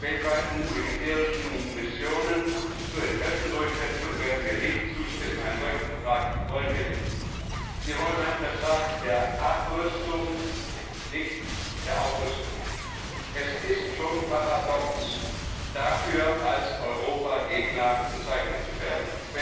Weltweiten militärischen Missionen zur Interessendurchsetzung werden wir nicht zustimmen. Einen solchen Vertrag wollen wir nicht, wir wollen einen Vertrag der Abrüstung, nicht der Aufrüstung. Es ist schon paradox, deshalb als Europagegner bezeichnet zu werden.